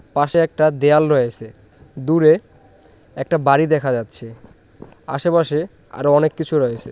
পাশে একটা দেয়াল রয়েছে দূরে একটা বাড়ি দেখা যাচ্ছে আশেপাশে আরো অনেক কিছু রয়েছে।